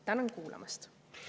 Tänan kuulamast!